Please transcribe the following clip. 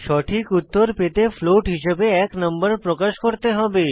সঠিক উত্তর পেতে ফ্লোট হিসাবে এক নম্বর প্রকাশ করতে হবে